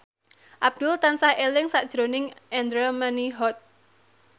Abdul tansah eling sakjroning Andra Manihot